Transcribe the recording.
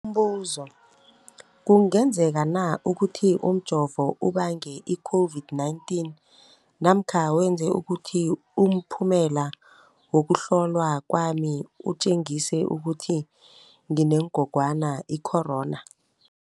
Umbuzo, kungenzekana ukuthi umjovo ubange i-COVID-19 namkha wenze ukuthi umphumela wokuhlolwa kwami utjengise ukuthi nginengogwana i-corona?